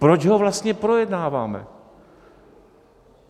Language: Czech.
Proč ho vlastně projednáváme?